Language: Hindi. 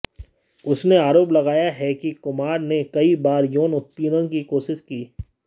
उसने आरोप लगाया है कि कुमार ने कई बार यौन उत्पीडऩ की कोशिश की